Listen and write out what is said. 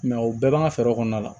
o bɛɛ b'an ka fɛɛrɛ kɔnɔna la